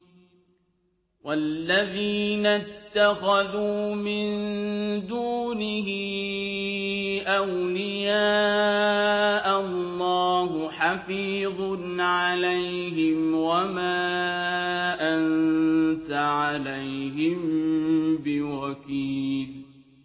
وَالَّذِينَ اتَّخَذُوا مِن دُونِهِ أَوْلِيَاءَ اللَّهُ حَفِيظٌ عَلَيْهِمْ وَمَا أَنتَ عَلَيْهِم بِوَكِيلٍ